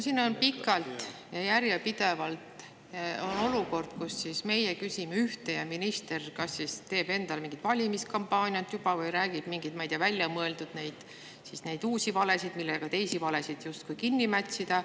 Siin on pikalt ja järjepidevalt olnud olukord, kus meie küsime ühte, aga minister kas siis teeb endale mingit valimiskampaaniat juba või räägib mingeid, ma ei tea, väljamõeldud uusi valesid, millega teisi valesid justkui kinni mätsida.